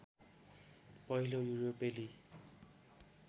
पहिलो युरोपेली